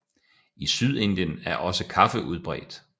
I Sydindien er også kaffe udbredt